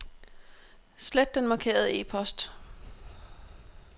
Slet den markerede e-post.